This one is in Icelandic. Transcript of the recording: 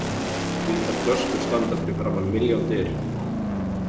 Hvítar flöskur standa fyrir framan milljón dyr.